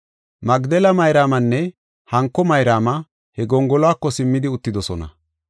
Magdela Mayraamanne hanko Mayraama he gongoluwako simmidi uttidosona.